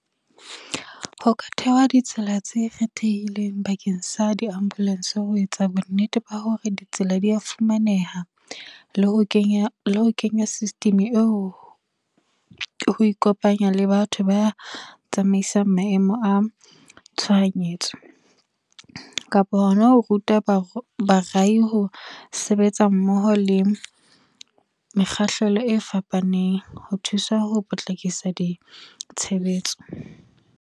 Ho ka thehwa ditsela tse kgethehileng bakeng sa di-ambulance, ho etsa bonnete ba hore ditsela di a fumaneha. Le ho kenya system eo, ho ikopanya le batho ba tsamaisang maemo a tshohanyetso, kapa hona ho ruta ho sebetsa mmoho le mekgahlelo e fapaneng ho thusa ho potlakisa di tshebetso.